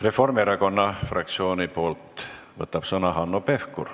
Reformierakonna fraktsiooni nimel võtab sõna Hanno Pevkur.